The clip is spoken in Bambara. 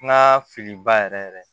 N ka filiba yɛrɛ yɛrɛ